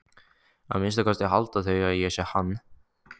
Að minnsta kosti halda þau að ég sé hann.